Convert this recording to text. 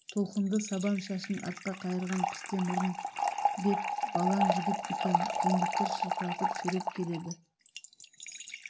толқынды сабан шашын артқа қайырған пісте мұрын бет балаң жігіт екен жендеттер шырқыратып сүйреп келеді